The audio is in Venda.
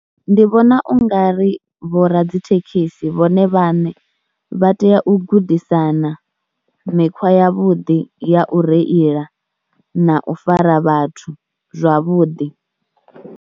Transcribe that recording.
Ndi vhona u nga ri vho ra dzi thekhisi vhone vhaṋe vha tea u gudisana mikhwa yavhuḓi ya u reila na u fara vhathu zwavhuḓi.